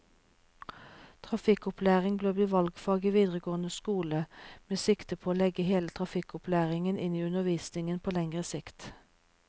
Trafikkopplæring bør bli valgfag i videregående skole, med sikte på å legge hele trafikkopplæringen inn i undervisningen på lengre sikt.